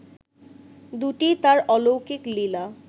দুটিই তার অলৌকিক লীলা